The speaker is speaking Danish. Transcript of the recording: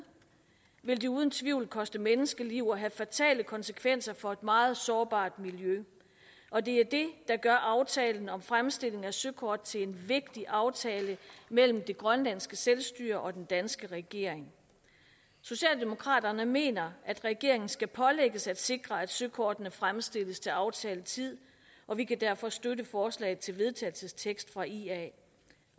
vil det uden tvivl koste menneskeliv og have fatale konsekvenser for et meget sårbart miljø og det er det der gør aftalen om fremstilling af søkort til en vigtig aftale mellem det grønlandske selvstyre og den danske regering socialdemokraterne mener at regeringen skal pålægges at sikre at søkortene fremstilles til aftalt tid og vi kan derfor støtte forslaget til vedtagelse fra ia